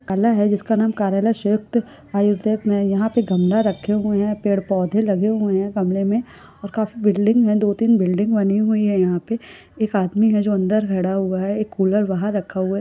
काला है जिसका नाम कार्यालय सयुंक्त है पे गमला रखे हुए हैं पेड़ पौधे लगे हुए हैं बंगले में और काफी बिल्डिंग है दो तीन बिल्डिंग बनी हुई है यहा पे एक आदमी है जो अंदर खड़ा हुआ है कूलर बाहर रखा हुआ है।